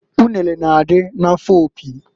Unere na-adị n'afọ Opi.